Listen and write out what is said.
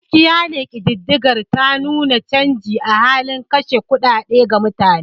Gaskiya ne kididdigar ta nuna canji a halin kashe kuɗaɗe ga mutane.